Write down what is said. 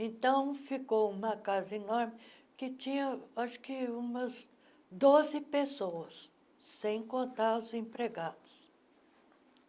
Então, ficou uma casa enorme que tinha acho que umas doze pessoas, sem contar os empregados.